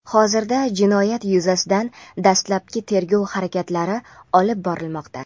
Hozirda jinoyat yuzasidan dastlabki tergov harakatlari olib borilmoqda.